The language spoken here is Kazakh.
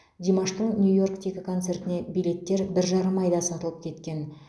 димаштың нью йорктегі концертіне билеттер бір жарым айда сатылып кеткен